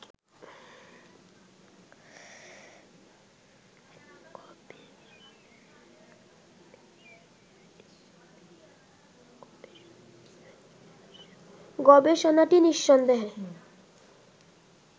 গবেষণাটি নিঃসন্দেহে